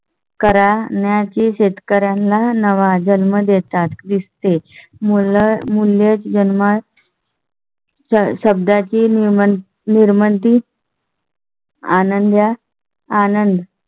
करण्याची शेतकर् यांना -एक नवा जन्म देतात दिसते मुलं जन्मा. शब्दा ची निर्मिती. आनंद या आनंद